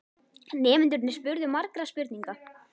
Nemendurnir spurðu margra spurninga.